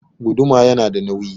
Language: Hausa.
Guduma yana da nawi